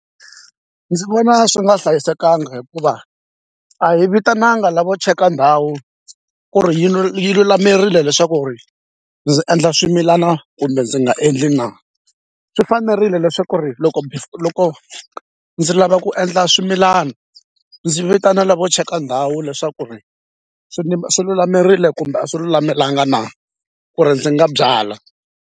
Ndzi vona swi nga hlayisekanga hikuva a hi vitanaka lavo cheka ndhawu ku ri yi lulamerile leswaku ri ndzi endla swimilana kumbe ndzi nga endli na swi fanerile leswaku ri loko loko ndzi lava ku endla swimilana ndzi vitana lavo cheka ndhawu leswaku ri swi swi lulamerile kumbe a swi lulamelangi na ku ri ndzi nga byala.